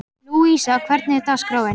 Lúísa, hvernig er dagskráin?